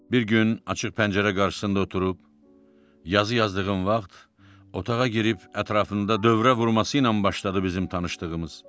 Bir gün açıq pəncərə qarşısında oturub, yazı yazdığım vaxt, otağa girib ətrafında dövrə vurması ilə başladı bizim tanışdığımız.